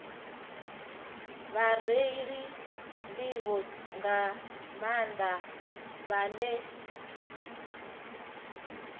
vhareili nḓivho nga maanḓa vhane